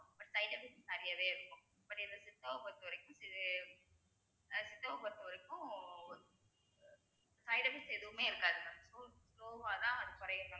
but side effects நிறையவே இருக்கும் but எங்க சித்தாவ பொறுத்தவரைக்கும் சித்தாவ பொறுத்தவரைக்கும் side effects எதுவுமே இருக்காது sl~ slow வா தான் அது குறையும் mam